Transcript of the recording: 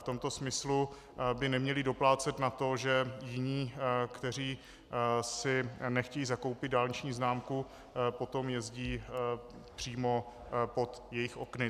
V tomto smyslu by neměli doplácet na to, že jiní, kteří si nechtějí zakoupit dálniční známku, potom jezdí přímo pod jejich okny.